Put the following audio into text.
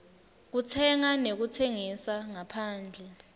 kutsenga nekutsengisa ngaphandle